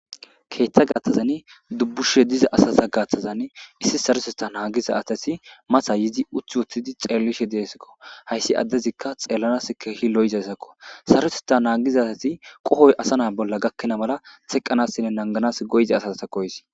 keeththa gathazan dubbushe diza asaza gaaththazan issi sareseta naagiza atati masa yizi uthi woththidi xeellishe deesekko hayssi addezikka xeellanas keehi lo7zayssakko saresetta naagiza tati qohoy asa naa bolla gakkina mala teqqanassinne nanganas goyza asaza ta koys